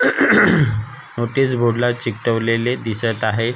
Notice board ला चिकटवलेले दिसत आहे.